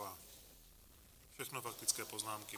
Všechno faktické poznámky.